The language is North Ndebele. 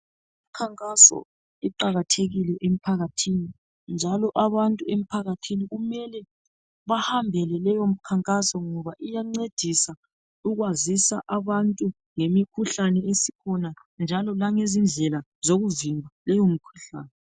Imikhankaso iqakathekile emphakathini . Njalo abantu emphakathini kumele bahambele leyo mkhankaso .Ngoba iyancedisa ukwazisa abantu ngemikhuhlane esikhona njalo langezi ndlela zokuvimba leyo mikhuhlane .